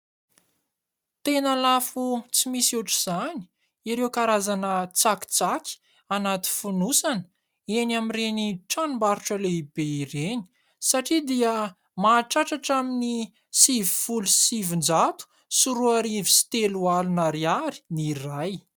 Tena lafo tsy misy ohatr' izany ireo karazana tsakitsaky anaty fonosana eny amin' ireny tranombarotra lehibe ireny satria dia mahatratra hatramin' ny sivifolo sy sivin-jato sy roarivo sy telo alina ariary ny iray.